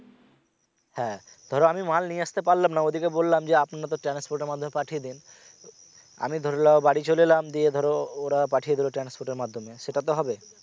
হ্যা ধরো আমি মাল নিয়ে আসতে পারলাম না ওদেরকে বললাম যে আপনারা তো transport এর মাধ্যমে পাঠিয়ে দেন আমি ধরে নাও বাড়ি চলে এলাম দিয়ে ধরো ওরা পাঠিয়ে দিলো transport এর মাধ্যমে সেটাতে হবে